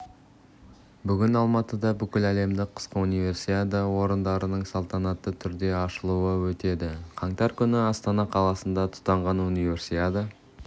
бүгін алматыда бүкіләлемдік қысқы универсиада ойындарының салтанатты түрде ашылуы өтеді қаңтар күні астана қаласында тұтанған универсиада